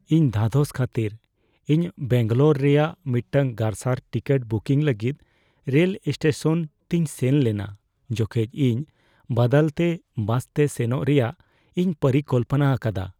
ᱤᱧ ᱫᱷᱟᱫᱚᱥ ᱠᱷᱟᱹᱛᱤᱨ, ᱤᱧ ᱵᱮᱝᱜᱟᱞᱳᱨ ᱨᱮᱭᱟᱜ ᱢᱤᱫᱴᱟᱝ ᱜᱟᱨᱥᱟᱨ ᱴᱤᱠᱤᱴ ᱵᱩᱠᱤᱝ ᱞᱟᱹᱜᱤᱫ ᱨᱮᱞ ᱥᱴᱮᱥᱚᱱ ᱛᱤᱧ ᱥᱮᱱ ᱞᱮᱱᱟ ᱡᱚᱠᱷᱮᱡ ᱤᱧ ᱵᱟᱫᱟᱞᱛᱮ ᱵᱟᱥᱛᱮ ᱥᱮᱱᱚᱜ ᱨᱮᱭᱟᱜ ᱤᱧ ᱯᱚᱨᱤᱠᱚᱞᱯᱚᱱᱟ ᱟᱠᱟᱫᱟ ᱾